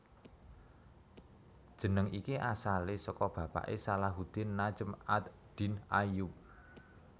Jeneng iki asalé saka bapaké Salahuddin Najm ad Din Ayyub